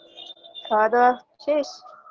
খাওয়া-দাওয়া শেষ